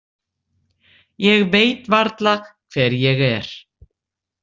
Ég veit varla hver ég er.